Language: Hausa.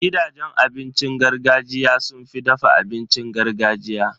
Gidajen abincin gargajiya sun fi dafa abincin gargajiya.